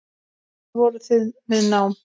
Þar voru þau við nám.